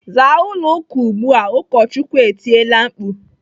"Zaa ụlọ ụka ugbu a!" Ụkọchukwu etiela mkpu.